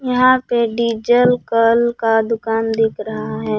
यहां पे डीजल कल का दुकान दिख रहा है।